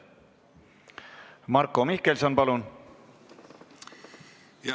Marko Mihkelson, palun!